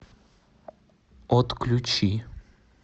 отключи